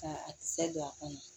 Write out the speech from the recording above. Ka a kisɛ don a kɔnɔ